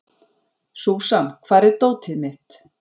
Súsan, hvar er dótið mitt?